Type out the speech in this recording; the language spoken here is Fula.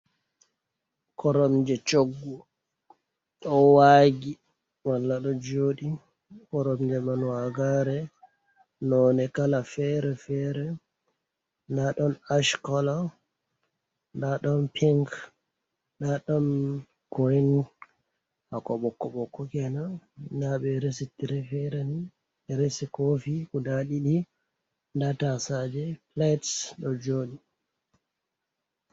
Koromje choggu ɗo waggi mala ɗo joɗi, koromje man wagare nonne kala fere fere nda ɗon ash kolo, nda ɗon pink nda ɗon koi hako ɓokko bokko kenan nda ɓe resi tire fere ni ɓe risi kofi guda ɗiɗi, nda tasaje light ɗo joɗi.